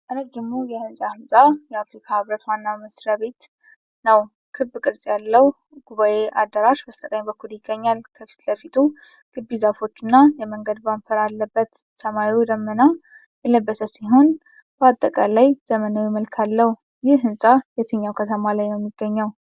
ረዥሙ የህንጻ ህንፃ የአፍሪካ ህብረት ዋና መስሪያ ቤት ነው። ክብ ቅርጽ ያለው ጉባዔ አዳራሽ በስተቀኝ በኩል ይገኛል። የፊት ለፊቱ ግቢ ዛፎችና የመንገድ ባምፐር አለበት። ሰማዩ ደመና የለበሰ ሲሆን በአጠቃላይ ዘመናዊ መልክ አለው። ይህ ህንፃ የትኛው ከተማ ነው የሚገኘው?